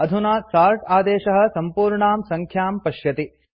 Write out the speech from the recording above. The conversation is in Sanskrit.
अधुना सोर्ट् आदेशः सम्पूर्णां सङ्ख्यां पश्यति